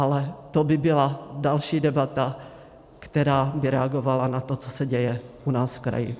Ale to by byla další debata, která by reagovala na to, co se děje u nás v kraji.